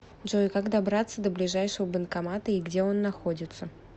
джой как добраться до ближайшего банкомата и где он находится